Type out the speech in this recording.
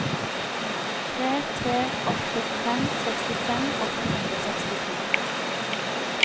tre tre åtte fem sekstifem åtte hundre og sekstito